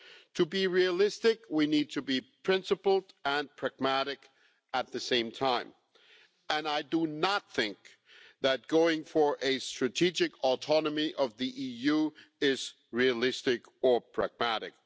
To be realistic, we need to be principled and pragmatic at the same time, and I do not think that going for a strategic autonomy of the EU is realistic or pragmatic.